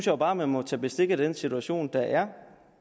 jo bare at man må tage bestik af den situation der